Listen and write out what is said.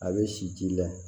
A bɛ si ji la